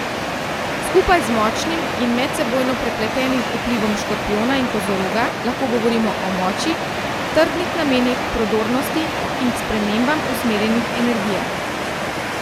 Skupaj z močnim in medsebojno prepletenim vplivom Škorpijona in Kozoroga lahko govorimo o moči, trdnih namenih, prodornosti in k spremembam usmerjenih energijah.